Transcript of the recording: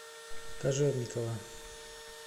кожевникова